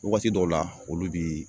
Waati dɔw la olu bii